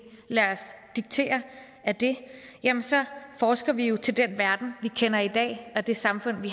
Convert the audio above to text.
lader os diktere af det så forsker vi jo til den verden vi kender i dag og det samfund vi